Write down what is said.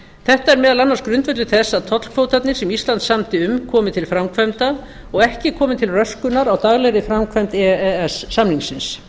þetta er meðal annars grundvöllur þess að tollkvótarnir sem ísland samdi um komi til framkvæmda og ekki komi til röskunar á daglegri framkvæmd e e s samningsins